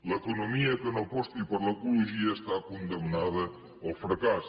l’economia que no aposti per l’ecologia està condemnada al fracàs